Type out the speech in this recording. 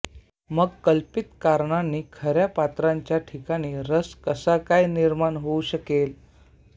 मग कल्पित कारणांनी खऱ्या पात्रांच्या ठिकाणी रस कसा काय निर्माण होऊ शकेल